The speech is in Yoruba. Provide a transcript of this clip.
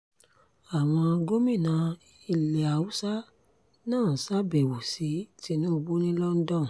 àwọn gómìnà ilé haúsá náà ṣàbẹ̀wò sí tinubu ní london